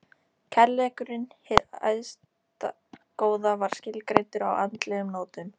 Kærleikurinn- hið æðsta góða- var skilgreindur á andlegum nótum.